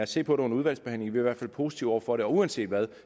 se på det under udvalgsbehandlingen vi er i hvert fald positive over for det og uanset hvad